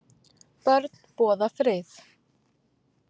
Börn boða frið